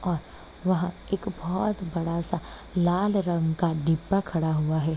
और वह एक बहुत बड़ा सा लाल रंग का दीप खड़ा हुआ है।